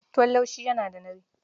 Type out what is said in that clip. Tuwon laushi yana da nauyi.